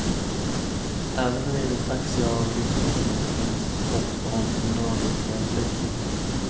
Även när det gäller taxiavregleringen fanns hopp om dynamiska effekter.